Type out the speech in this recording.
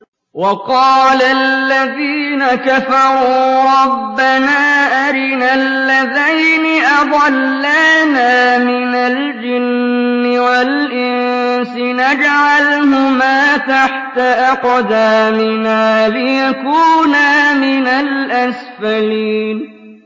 وَقَالَ الَّذِينَ كَفَرُوا رَبَّنَا أَرِنَا اللَّذَيْنِ أَضَلَّانَا مِنَ الْجِنِّ وَالْإِنسِ نَجْعَلْهُمَا تَحْتَ أَقْدَامِنَا لِيَكُونَا مِنَ الْأَسْفَلِينَ